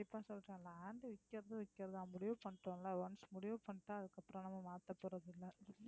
கண்டிப்பா சொல்றேன் land விக்கறதும் விக்கறதா முடிவு பண்ணிட்டோம்ல once முடிவு பண்ணிட்டா அதுக்கப்புறம் நம்ம மாத்தப்போறதில்லை.